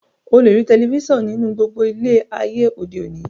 O le rí telifísàn nínú gbogbo ilé e ayé òde òní